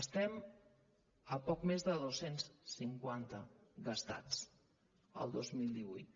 estem a poc més de dos cents i cinquanta gastats el dos mil divuit